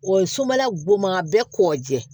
O ye sobala goman bɛ kɔgɔjɛ